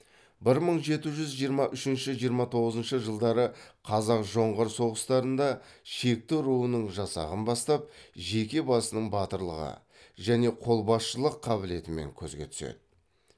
бір мың жеті жүз жиырма үшінші жиырма тоғызыншы жылдары қазақ жоңғар соғыстарында шекті руының жасағын бастап жеке басының батырлығы және қолбасшылық қабілетімен көзге түседі